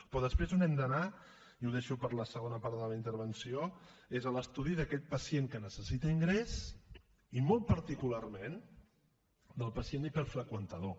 però després on hem d’anar i ho deixo per a la segona part de la meva intervenció és a l’estudi d’aquest pacient que necessita ingrés i molt particularment del pacient hiperfreqüentador